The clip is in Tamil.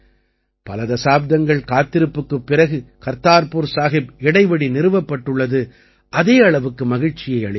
பல தசாப்தங்கள் காத்திருப்புக்குப் பிறகு கர்தார்புர் சாஹிப் இடைவழி நிறுவப்பட்டுள்ளது அதே அளவுக்கு மகிழ்ச்சியை அளிக்கிறது